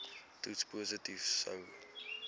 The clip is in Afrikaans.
toets positief sou